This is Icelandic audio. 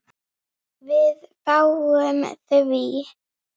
Spurt en ekki skipað.